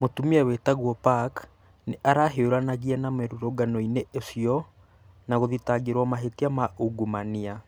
Mũtumia wĩtagwo Park nĩ arahiũranagia na mũrũrũngano-inĩ ũcio na gũthitangĩrwo mahĩtia ma ungumania.